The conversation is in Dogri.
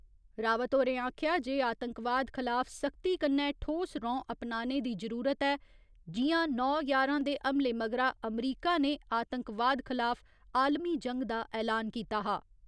रावत होरें आखेआ जे आतंकवाद खलाफ सख्ती कन्नै ठोस रौं अपनाने दी जरूरत ऐ, जि'यां नौ ञारां दे हमले मगरा अमरीका ने आतंकवाद खलाफ आलमी जंग दा ऐलान कीता हा।